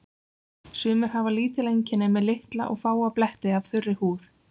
Sumir hafa lítil einkenni með litla og fáa bletti af þurri húð.